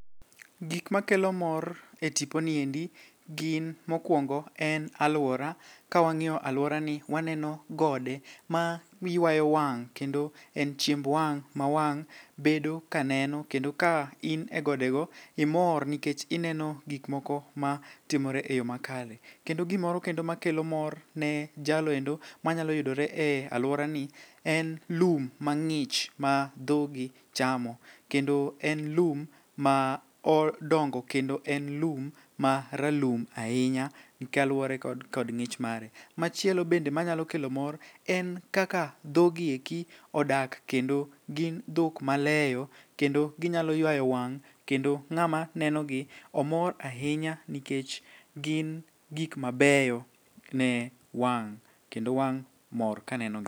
Gik makelo mor e tiponi endi gin mokwongo en alwora ka wang'iyo alworani waneno gode ma ywayo wang' kendo en chiemb wang' ma wang' bedo ka neno kendo ka in e godego imor nikech ineno gikmoko matimore e yo makare. Kendo gimoro kendo makelo mor ne jaloendo manyalo yudore e alworani en lum mang'ich ma dhogi chamo kendo en lum ma odongo kendo en lum ma ralum ahinya gi kaluwore kod ng'ich mare. Machielo bende manyalo kelo kor en kaka dhogieki odak kendo gin dhok maleyo kendo ginyalo ywayo wang' kendo ng'ama nenogi omor ahinya nikech gin gik mabeyo ne wang' kendo wang' mor kanenogi.